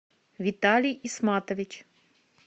виталий исматович